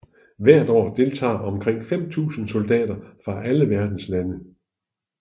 Hvert år deltager omkring 5000 soldater fra alle verdens lande